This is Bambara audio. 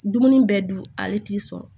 Dumuni bɛɛ dun ale t'i sɔrɔ